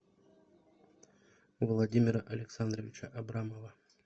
владимира александровича абрамова